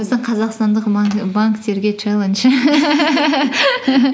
біздің қазақстандық банктерге чаллендж